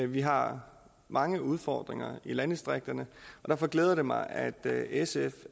vi har mange udfordringer i landdistrikterne og derfor glæder det mig at at sf